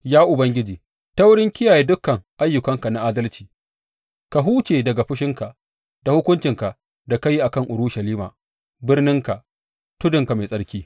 Ya Ubangiji, ta wurin kiyaye dukan ayyukanka na adalci, ka huce daga fushinka da hukuncinka da ka yi a kan Urushalima, birninka, tudunka mai tsarki.